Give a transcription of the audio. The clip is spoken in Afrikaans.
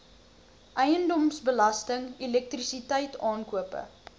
eiendomsbelasting elektrisiteit aankope